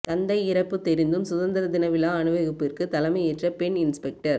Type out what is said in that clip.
தந்தை இறப்பு தெரிந்தும் சுதந்திர தினவிழா அணிவகுப்பிற்கு தலைமையேற்ற பெண் இன்ஸ்பெக்டர்